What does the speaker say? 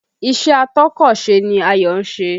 Ìṣe atọ́kọ̀sè ni Ayọ̀ ń ṣe